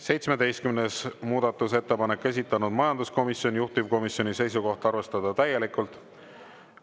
17. muudatusettepanek, esitanud majanduskomisjon, juhtivkomisjoni seisukoht on arvestada täielikult.